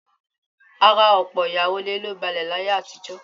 Ara ọ̀pọ̀ ìyàwó ilé ló balẹ̀ láyé àtijọ́